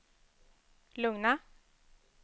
lugna